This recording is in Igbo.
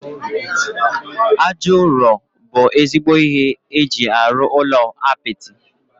Aja ụrọ bụ ezigbo ihe eji arụ ụlọ apịtị